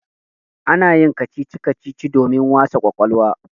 Ana yin kacici-kacici domin wasa ƙwaƙwalwa.